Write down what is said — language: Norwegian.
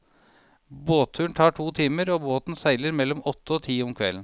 Båtturen tar to timer, og båten seiler mellom åtte og ti om kvelden.